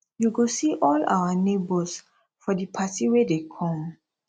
you go see all our neighbors for di party wey dey come